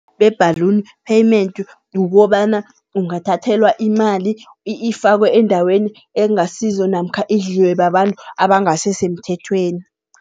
Be-balloon payment kukobana ungathathelwa imali ifakwe endaweni ekungasizo namkha idliwe babantu abangasi semthethweni.